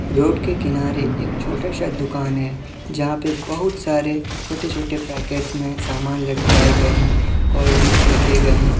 Road के किनारे एक छोटा सा दुकान है जहा पे बहुत सारे छोटे- छोटे पैकेट मे समान लटकाए गए है कोल्ड ड्रिंक्स रखे गए है।